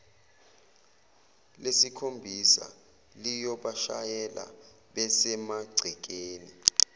lesikhombisa liyobashayela besemagcekeni